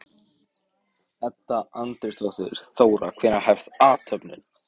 Edda Andrésdóttir: Þóra, hvenær hefst athöfnin?